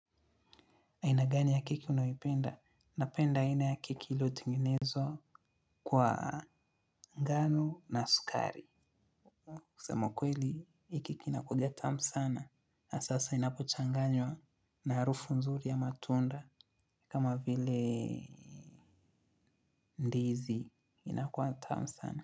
Aina gani ya keki unayoipenda? Napenda aina ya keki ilotengenezwa kwa ngano na sukari. Kusema kweli, hii keki inakuaga tamu sana. Na sasa inapochanganywa na harufu nzuri ya matunda kama vile ndizi inakuwa tamu sana.